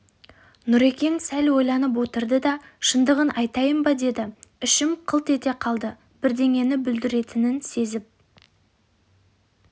нүрекең сәл ойланып отырды да шындығын айтайын ба деді ішім қылт ете қалды бірдеңені бүлдіретінін сезіп